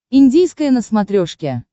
индийское на смотрешке